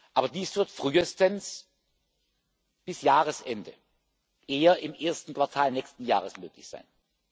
Aber dies wird frühestens bis Jahresende, eher im ersten Quartal nächsten Jahres möglich sein.